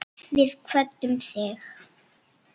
Við kvöddum þig.